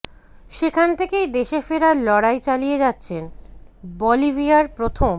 সেখান থেকেই দেশে ফেরার লড়াই চালিয়ে যাচ্ছেন বলিভিয়ার প্রথম